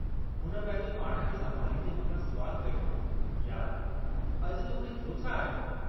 हुन पंहिंजो पाण खे संभालींदे मूं खां सुवालु कयो, यार, अॼु तोखे थियो छा आहे?